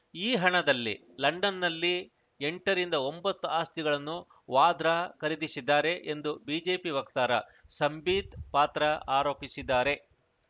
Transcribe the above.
ಈ ಹಣದಲ್ಲಿ ಲಂಡನ್‌ನಲ್ಲಿ ಎಂಟರಿಂದ ಒಂಬತ್ತು ಆಸ್ತಿಗಳನ್ನು ವಾದ್ರಾ ಖರೀದಿಸಿದ್ದಾರೆ ಎಂದು ಬಿಜೆಪಿ ವಕ್ತಾರ ಸಂಬೀತ್‌ ಪಾತ್ರ ಆರೋಪಿಸಿದ್ದಾರೆ